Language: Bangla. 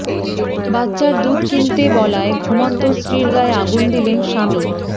বাচ্চার দুধ কিনতে বলায় ঘুমন্ত স্ত্রীর গায়ে আগুন দিলেন স্বামী